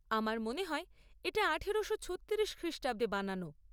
আমার মনে হয় এটা আঠারোশো ছত্তিরিশ খ্রিষ্টাব্দে বানানো।